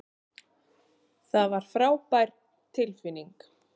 Það var frábær tilfinning.